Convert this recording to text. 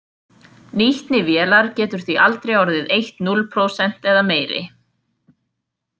Nýtni vélar getur því aldrei orðið eitt núll prósent eða meiri.